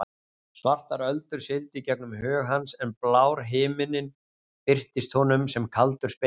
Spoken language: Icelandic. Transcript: Svartar öldur sigldu í gegnum hug hans en blár himinninn birtist honum sem kaldur spegill.